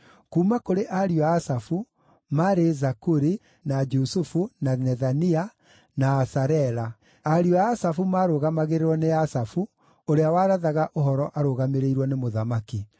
Kuuma kũrĩ ariũ a Asafu: maarĩ Zakuri, na Jusufu, na Nethania, na Asarela. Ariũ a Asafu maarũgamagĩrĩrwo nĩ Asafu, ũrĩa warathaga ũhoro arũgamĩrĩirwo nĩ mũthamaki.